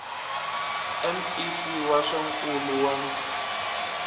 mec wa swa nkulo wa